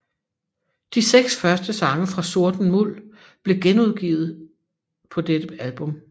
De seks første sange fra Sorten Muld blev genudgivet dette album